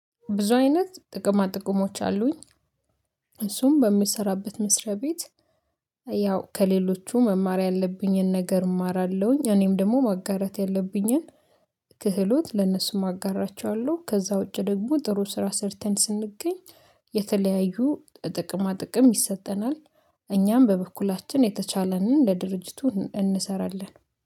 ብዙ አይነት ጥቅማ ጥቅሞች አሉኝ እሱም በምሰራበት መስሪያ ቤት ያው ከሌሎቹ መማር ያለብኝን ነገር እማራለሁኝ። እኔም ደግሞ ማጋራት ያለብኝን ክህሎት ለነሱም አጋራቸዋለሁ። ከዛ ውጪ ደግሞ ጥሩ ስራ ሰርተን ስንገኝ። የተለያዩ ጥቅማ ጥቅም ይሰጠናል እኛም በበኩላችን የተቻለንን ለድርጅቱ እንሰራለን